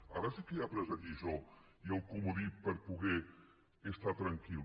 ara sí que he après la lliçó i el comodí per poder estar tranquil